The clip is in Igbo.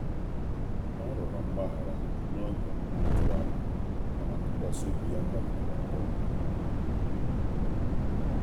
Ọ rụrọ mgbahara na oge m atughi anya, mana ntụkwasi obi ya malitere akponwụ